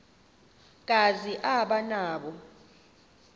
kazi aba nawo